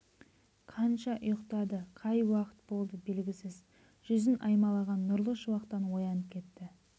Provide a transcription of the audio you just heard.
қанша ұйықтады қай уақыт болды белгісіз жүзін аймалаған нұрлы шуақтан оянып кетті